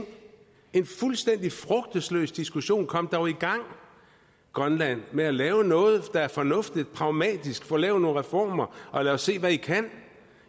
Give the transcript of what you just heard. en fuldstændig frugtesløs diskussion kom dog i gang grønland med at lave noget der er fornuftigt og pragmatisk få lavet nogle reformer og lad os se hvad i kan